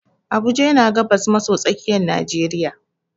Abuja yana gabas maso tsakiyar najeriya.